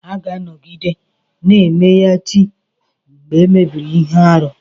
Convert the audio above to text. A ga-anọgide na-emeya chi mgbe e mere ihe arụ.